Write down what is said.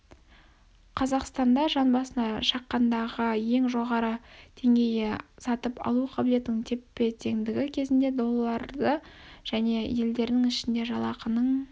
қазақстанда жанбасына шаққандағы ең жоғары деңгейі сатып алу қабілетінің теп-теңдігі кезінде доллары және елдерінің ішінде жалақының